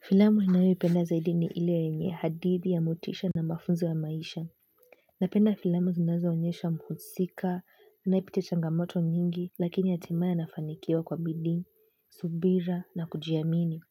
Filamu ninayo ipenda zaidi ni ile yenye hadithi ya motisha na mafunzo ya maisha. Napenda filamu zinazo onyesha mhusika, anaye pitia changamoto nyingi, lakini hatimaye anafanikiawa kwa bidii, subira na kujiamini.